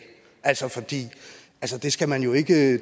altså det skal man jo ikke